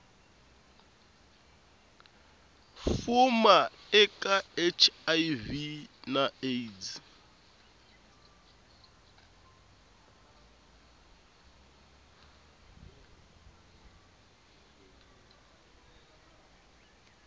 fuma eka hiv na aids